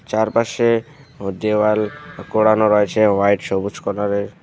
চারপাশে ও দেওয়াল করানোর আছে হোয়াইট সবুজ কালার -এর।